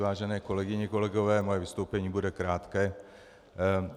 Vážené kolegyně, kolegové, moje vystoupení bude krátké.